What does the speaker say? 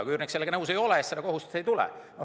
Kui üürnik sellega nõus ei ole, siis seda kohustust ei tule.